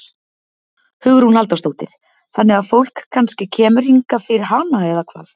Hugrún Halldórsdóttir: Þannig að fólk kannski kemur hingað fyrir hana eða hvað?